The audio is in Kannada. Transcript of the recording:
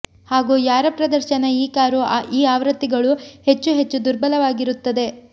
ಹಾಗೂ ಯಾರ ಪ್ರದರ್ಶನ ಈ ಕಾರು ಈ ಆವೃತ್ತಿಗಳು ಹೆಚ್ಚು ಹೆಚ್ಚು ದುರ್ಬಲವಾಗಿರುತ್ತದೆ